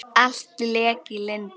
Allt lék í lyndi.